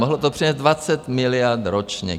Mohlo to přinést 20 miliard ročně.